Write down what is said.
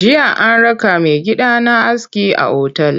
Jiya an raka maigidana aski a otal.